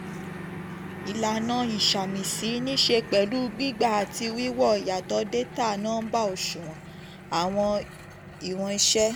ìlànà ìsàmìsí nìṣẹ́ pẹ̀lú gbígba àti wíwo ìyàtọ̀ data nọ́mba ìyàtọ̀ data nọ́mba òṣùwọ̀n (àwọn ìwọn iṣẹ́).